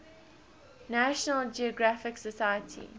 national geographic society